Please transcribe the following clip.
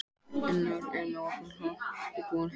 Unnar, hvað er opið lengi í Blómabúð Akureyrar?